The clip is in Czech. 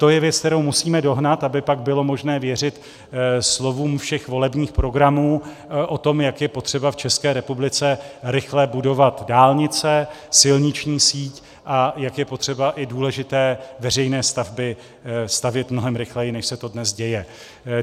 To je věc, kterou musíme dohnat, aby pak bylo možné věřit slovům všech volebních programů o tom, jak je potřeba v České republice rychle budovat dálnice, silniční síť a jak je potřeba i důležité veřejné stavby stavět mnohem rychleji, než se to dnes děje.